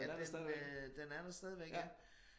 Men øh den er der stadigvæk ja